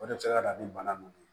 O de bɛ se ka na ni bana ninnu ye